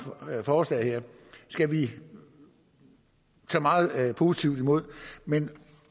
forslag her skal vi tage meget positivt imod men